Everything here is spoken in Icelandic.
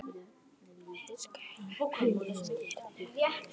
við skulum ekki skyrinu öllu